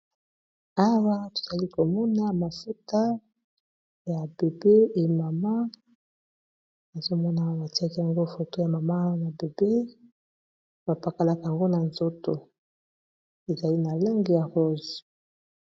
Awa tozali komona mafuta ya bebe et mama nazo monaka batiaki yango foto ya mama na bebe bapakalaka yango na nzoto ezali na langi ya rose.